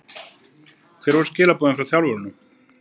Hver voru skilaboðin frá þjálfurunum?